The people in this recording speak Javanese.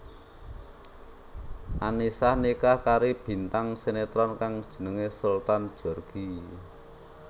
Annisa nikah kari bintang sinetron kang jenengé Sultan Djorghi